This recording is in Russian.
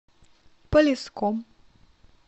полесском